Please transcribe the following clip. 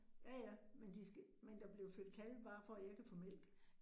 Ja ja, men de skal, men der bliver født kalve bare for, at jeg kan få mælk